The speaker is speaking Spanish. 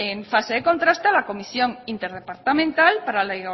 en fase de contraste a la comisión interdepartamental para la